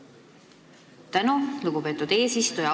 Suur tänu, lugupeetud eesistuja!